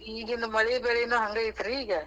ಈಗಿನ್ ಮಳಿ ಬೆಳಿನೂ ಹಂಗ ಐತ್ರಿ ಈಗ.